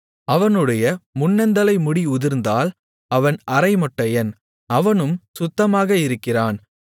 அவனுடைய முன்னந்தலை முடி உதிர்ந்தால் அவன் அரைமொட்டையன் அவனும் சுத்தமாக இருக்கிறான்